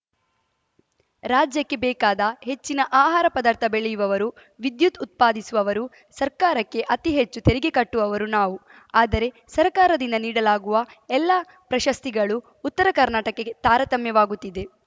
ರಾಜ್ಯಕ್ಕೆ ಬೇಕಾದ ಹೆಚ್ಚಿನ ಆಹಾರ ಪದಾರ್ಥ ಬೆಳೆಯುವವರು ವಿದ್ಯುತ್‌ ಉತ್ಪಾದಿಸುವವರು ಸರ್ಕಾರಕ್ಕೆ ಅತಿ ಹೆಚ್ಚು ತೆರಿಗೆ ಕಟ್ಟುವವರು ನಾವು ಆದರೆ ಸರ್ಕಾರದಿಂದ ನೀಡಲಾಗುವ ಎಲ್ಲಾ ಪ್ರಶಸ್ತಿಗಳೂ ಉತ್ತರ ಕರ್ನಾಟಕಕ್ಕೆ ತಾರತಮ್ಯವಾಗುತ್ತಿದೆ